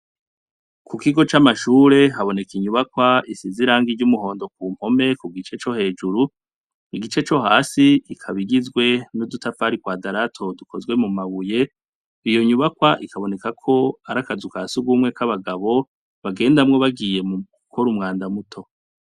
Ku kigo c'amashure haboneka inyubakwa isiz irangi iry'umuhondo ku mpome ku gice co hejuru igice co hasi ikaba igizwe n'udutafari kwadarato dukozwe mu mabuye iyo nyubakwa ikaboneka ko ari akazu ka sugumwe k'abagabo bagendamwo bagiye mu gukora umwanda muto.